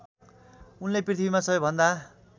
उनले पृथ्वीमा सबैभन्दा